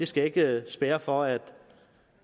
skal ikke spærre for at